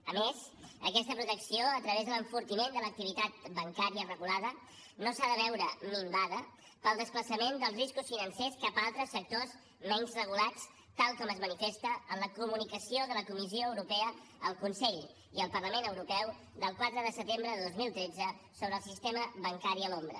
a més aquesta protecció a través de l’enfortiment de l’activitat bancària regulada no s’ha de veure minvada pel desplaçament dels riscos financers cap a altres sectors menys regulats tal com es manifesta en la comunicació de la comissió europea al consell i el parlament europeu del quatre de setembre de dos mil tretze sobre el sistema bancari a l’ombra